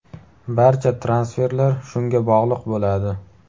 Barcha transferlar shunga bog‘liq bo‘ladi.